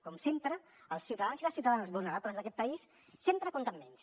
com sempre els ciutadans i les ciutadanes vulnerables d’aquest país sempre compten menys